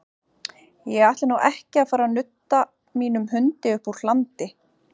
Ég ætla nú ekki að fara að nudda mínum hundi uppúr hlandi.